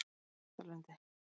Þrastalundi